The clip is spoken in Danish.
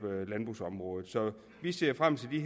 landbrugsområdet så vi ser frem til de